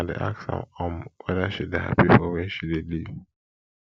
i dey ask am um weda she dey hapi for where she dey live